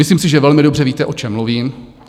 Myslím si, že velmi dobře víte, o čem mluvím.